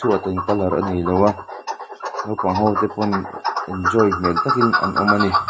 chhuat in colour a neiloa naupangho te pawn enjoy hmel takin an awm a ni.